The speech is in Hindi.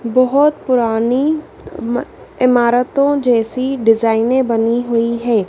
बहोत पुरानी इमारतों जैसी डिजाइनें बनी हुई है।